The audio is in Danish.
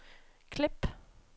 klip